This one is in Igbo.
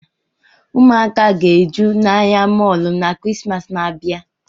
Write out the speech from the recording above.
Ụmụ aka ga-eju n'ahia mọlụ n'kirisimasi n'abia